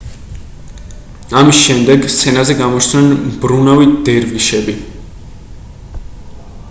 ამის შემდეგ სცენაზე გამოჩნდნენ მბრუნავი დერვიშები